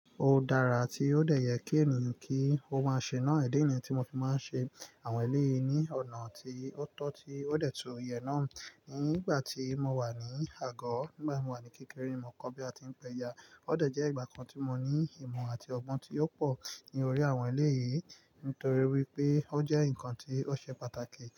Ó dára tí ó dẹ̀ yẹ kí ẹ̀mi kí ó máa ṣe náà. Idi ni yìí ni tí mo ti máa ń ṣe àwọn eléyìí ní ọ̀nà tí ó tọ́, tí ó dẹ̀ tún yè náà. Ní ìgbà tí mo wà ní àgọ́, nígbà tí mo wà ní kékeré, mo kọ́ bí a tí ń pẹ́ja. Ó dẹ̀ jẹ́ ìgbà kan tí mo ní ìmọ̀ àti ọgbọ́n tí ó pọ̀ ní orí àwọn eléyìí, nítorí wípé ó jẹ́ ǹkan tí ó ṣe pàtàkì.